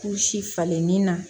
Kuru si falen ni na